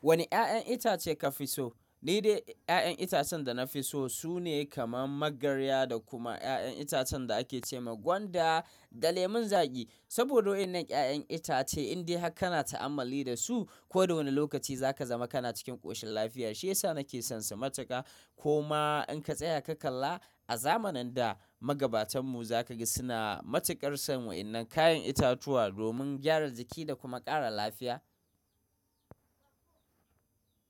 Wane 'ya'yan itace ka fi so? Ni dai 'ya'yan itacen da na fi so sune kaman magarya da kuma 'ya'yan itacen da ake ce ma gwanda da lemon zaƙi. Saboda wannan 'ya'yan itace in dai haka kana ta'ammali da su, ko da wane lokaci za ka zama kana cikin ƙoshin lafiya. Shiyasa nake son su matuƙa. Koma in ka tsaya ka kalla a zamanin da, magabatan mu za ka ga suna matuƙar son wannan kayan itatuwa domin gyara jiki da kuma ƙara lafiya.